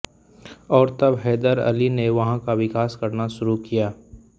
और तब हैदर अली ने वहाँ का विकास करना शुरू किया